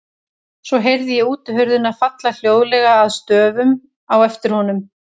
Svo heyrði ég útihurðina falla hljóðlega að stöfum á eftir honum.